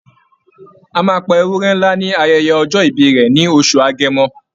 A máa pa ewúrẹ́ ńlá ní ayẹyẹ ọjọ́ ìbí rẹ̀ ní oṣù Agẹmọ.